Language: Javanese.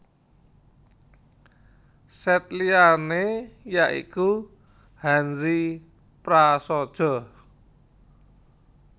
Sèt liyané ya iku Hanzi prasaja